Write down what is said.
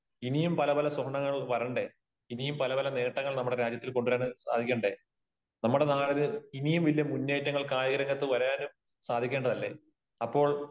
ഇനിയും പല പല സ്വർണങ്ങളും വരണ്ടേ? ഇനിയും പല പല നേട്ടങ്ങൾ നമ്മുടെ രാജ്യത്ത് കൊണ്ട് വരാൻ സാധിക്കണ്ടേ? നമ്മുടെ നാട് ഇനിയും വലിയ മുന്നേറ്റങ്ങൾ കായിക രംഗത്ത് വരാനും സാധിക്കേണ്ടത് അല്ലേ? അപ്പോൾ,